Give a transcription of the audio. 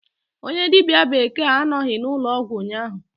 Onye dibia bekee anọghị n'ụlọọgwụ ụnyahụ.